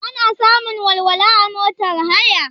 Ana samun walwala a motar haya?